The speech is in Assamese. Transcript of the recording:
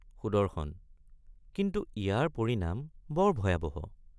সুদৰ্শন—কিন্তু ইয়াৰ পৰিণাম বৰ ভয়াবহ।